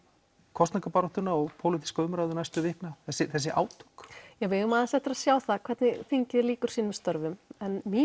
kosningabaráttuna og pólitíska umræðu næstu vikna þessi átök við eigum aðeins eftir að sjá hvernig þingið lýkur sínum störfum en mín